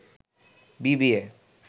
BBA